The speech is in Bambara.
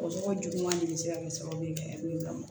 O tɔgɔ juguman de bɛ se ka kɛ sababu ye ka min lamɔ